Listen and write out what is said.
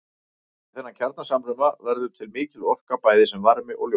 Við þennan kjarnasamruna verður til mikil orka bæði sem varmi og ljós.